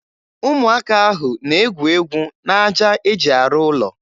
Ụmụaka ahụ na-egwu egwu n'aja e ji arụ ụlọ.